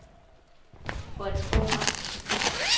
Frederiksborg Amt